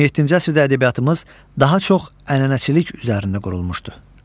17-ci əsrdə ədəbiyyatımız daha çox ənənəçilik üzərində qurulmuşdu.